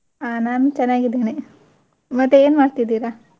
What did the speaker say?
ಹಾ ನಾನ್ ಚೆನ್ನಾಗಿ ಇದೇನೆ ಮತ್ತೆ ಏನ್ ಮಾಡ್ತಿದಿರಾ?